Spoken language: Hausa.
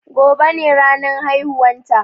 Gobe ne ranan haihuwan ta